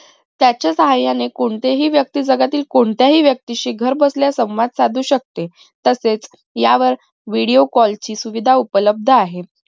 त्याच्या साहाय्याने कोणतीही व्यक्ती जगातील कोणत्याही व्यक्ती शी घर बसल्या संवाद साधू शकते तसेच यावर video call ची सुविधा उप्लब्द आहे